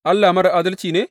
Allah marar adalci ne?